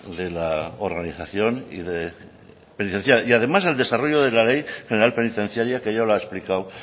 de la organización y penitenciaria y además el desarrollo de la ley general penitenciaria que ya lo ha explicado